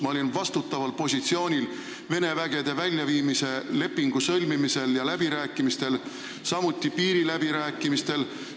Ma olin vastutaval positsioonil Vene vägede väljaviimise lepingu sõlmimisel ja läbirääkimistel, samuti piiriläbirääkimistel.